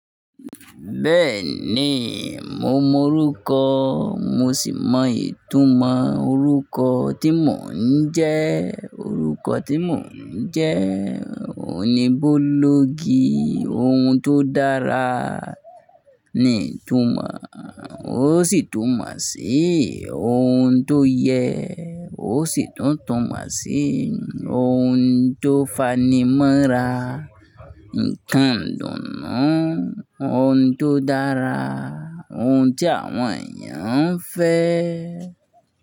Bẹ́ẹ̀ni, mo mọ orúkọ mo sì mọ ìtumọ̀ orúkọ tí mò ń jẹ́. Orúkọ tí mò ń jẹ́ ò ní Bólógi, ohun tó dára ni ìtumọ̀ ò, ó sì túmọ̀ sí ohun tó yẹ, ó sì tún tunmọ sí ohun tó fanimọ́ra, ǹkan dùnnù, ohun tó dára, ohun tí àwọn èèyàn ń fẹ́